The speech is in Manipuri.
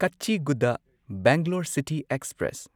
Kacheguda Bangalore city express